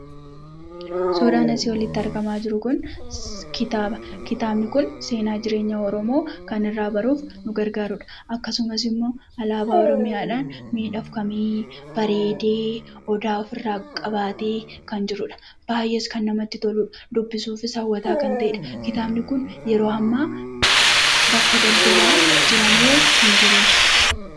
Suuraan asii olitti argamaa jiru kun kitaaba. Kitaabni kun seenaa jireenya oromoo kan irraa baruuf, nu gargaarudha. Akkasumas immoo alaabaa oromoodhaan miidhagee, bareedee, odaa ofirraa qabaatee kan jirudha. kan namatti toludha. Dubbisuufis hawwataa kan ta'eedha. Yeroo ammaa bakka daldalaa jira moo hin jiruu?